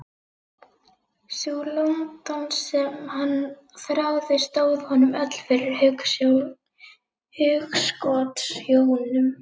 Sú London sem hann þráði stóð honum öll fyrir hugskotssjónum.